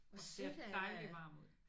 Og ser dejlig varm ud